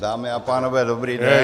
Dámy a pánové, dobrý den.